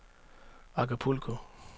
Acapulco